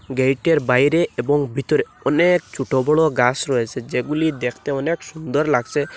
গেইটের বাইরে এবং ভিতরে অনেক ছোট বড় গাস রয়েসে যেগুলি দেখতে অনেক সুন্দর লাগসে।